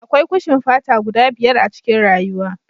Akwai kushin fata guda biyar a cikin rayuwa